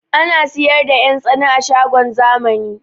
Ana siyar da 'yan tsana a shagon zamani